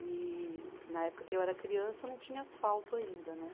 E na época que eu era criança não tinha asfalto ainda, né?